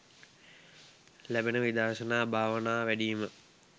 ලැබෙන විදර්ශනා භාවනා වැඩීම